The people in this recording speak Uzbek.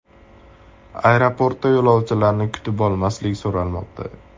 Aeroportda yo‘lovchilarni kutib olmaslik so‘ralmoqda .